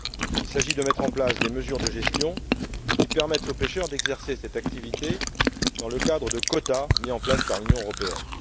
Il s'agit de prendre des mesures de gestion qui permettent aux pêcheurs d'exercer cette activité dans le cadre de quotas mis en place par l'Union européenne.